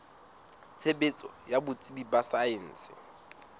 tshebetso ya botsebi ba saense